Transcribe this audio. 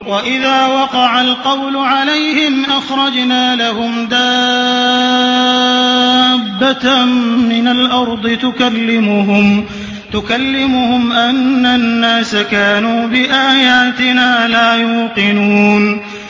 ۞ وَإِذَا وَقَعَ الْقَوْلُ عَلَيْهِمْ أَخْرَجْنَا لَهُمْ دَابَّةً مِّنَ الْأَرْضِ تُكَلِّمُهُمْ أَنَّ النَّاسَ كَانُوا بِآيَاتِنَا لَا يُوقِنُونَ